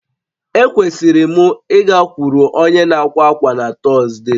Ekwesịrị m ịgakwuru onye na-àkwà ákwá na Tọzdee